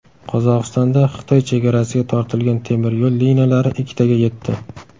Qozog‘istonda Xitoy chegarasiga tortilgan temiryo‘l liniyalari ikkitaga yetdi.